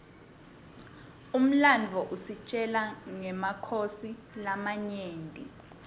umlandvo usitjela nqemakhosi lamanyenti